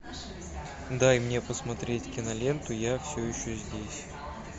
дай мне посмотреть киноленту я все еще здесь